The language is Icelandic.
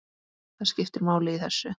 Það skiptir máli í þessu.